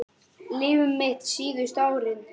Líf mitt síðustu árin.